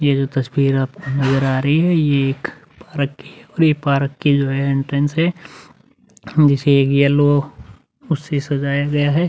यह जो तस्वीर आपको नजर आ रही है। ये एक पार्क की। ये पार्क की जो है इंटरेन्स है। जिसे एक येलो उससे सजाया गया है।